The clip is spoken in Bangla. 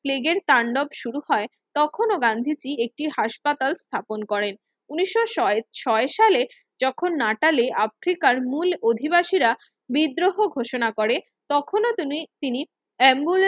লীগের তান্ডব শুরু হয় তখনও গান্ধীজি একটি হাসপাতাল স্থাপন করেন ঊনিশো ছয় ছয় সালে যখন নাটাল আফ্রিকান মূল অধিবাসীরা বিদ্রোহ ঘোষণা করে তখন ও তিনি তিনি এম্বুলে